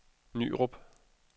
Nyrup